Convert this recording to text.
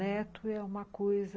Neto é uma coisa...